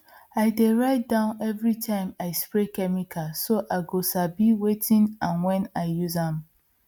i dey write down every time i spray chemical so i go sabi wetin and when i use am